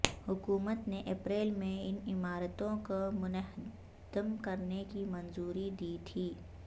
حکومت نے اپریل میں ان عمارتوں کو منہدم کرنے کی منظوری دی تھی